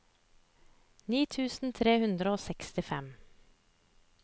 ni tusen tre hundre og sekstifem